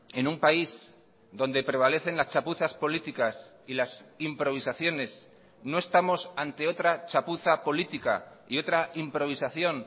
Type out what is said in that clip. en un país donde prevalecen las chapuzas políticas y las improvisaciones no estamos ante otra chapuza política y otra improvisación